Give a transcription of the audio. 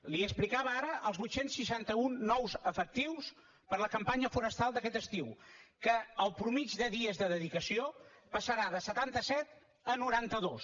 li explicava ara els vuit cents i seixanta un nous efectius per a la campanya forestal d’aquest estiu que la mitjana de dies de dedicació passarà de setanta set a noranta dos